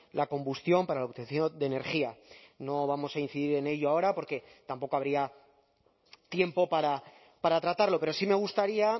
la combustión para la obtención de energía no vamos a incidir en ello ahora porque tampoco habría tiempo para tratarlo pero sí me gustaría